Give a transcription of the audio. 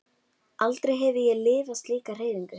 Aldrei hefi ég lifað slíka hreyfingu.